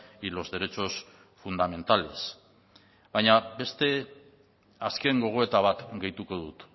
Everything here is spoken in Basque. y los derechos fundamentales baina beste azken gogoeta bat gehituko dut